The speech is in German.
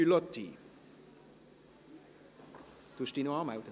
Können Sie sich bitte noch anmelden?